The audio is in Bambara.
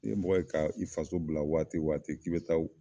N'i ye mɔgɔ ye ka i faso bila waati o waati k'i bɛ taa